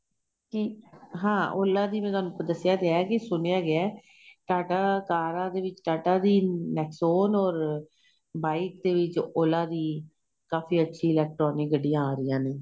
ਕਿ ਹਾਂ Ola ਦੀ ਮੈਂ ਤੁਹਾਨੂੰ ਦੱਸਿਆਂ ਤੇ ਹੈ ਸੁਣਿਆਂ ਗਿਆ ਏ ਟਾਟਾਂ ਕਾਰਾਂ ਦੇ ਵਿੱਚ ਟਾਟਾਂ ਦੀ nexon ਔਰ bike ਦੇ ਵਿੱਚ Ola ਦੀ ਕਾਫ਼ੀ ਅੱਛੀ electronic ਗੱਡੀਆਂ ਆਂ ਰਹਿਆਂ ਨੇ